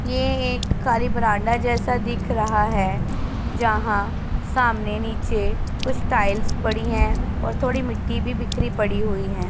ये एक काली बारांडा जैसा दिख रहा है जहां सामने नीचे कुछ टाइल्स पड़ी है और थोड़ी मिट्टी भी बिखरी पड़ी हुई है।